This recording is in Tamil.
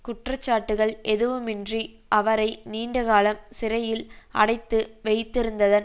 குற்றச்சாட்டுக்கள் எதுவிமின்றி அவரை நீண்டகாலம் சிறையில் அடைத்து வைத்திருந்ததன்